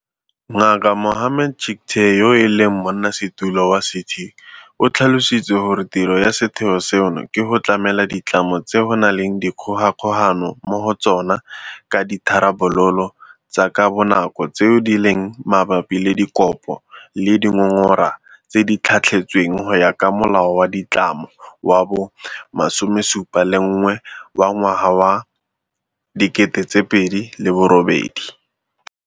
Ngaka Mohammed Chicktay, yo e leng Monnasetulo wa CT, o tlhalositse gore tiro ya setheo seno ke go tlamela ditlamo tse go nang le dikgogakgogano mo go tsona ka ditharabololo tsa ka bonako tseo di leng mabapi le dikopo le dingongora tse di tlhatlhetsweng go ya ka Molao wa Ditlamo wa bo 71 wa ngwaga wa 2008.